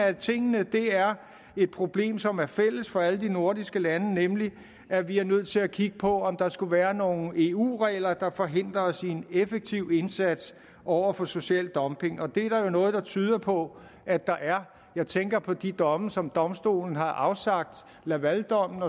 af tingene er et problem som er fælles for alle de nordiske lande nemlig at vi er nødt til at kigge på om der skulle være nogle eu regler der forhindrer os i en effektiv indsats over for social dumping og det er der jo noget der tyder på at der er jeg tænker på de domme som domstolen har afsagt lavaldommen